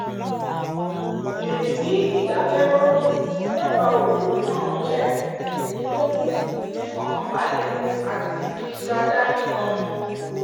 ìrìn ní ìdákẹ́rọ́rọ́ lẹ́bàá odò náà jẹ́ èyí tó mú ìfọ̀kànbalẹ̀ àti ìtura dá ní gan an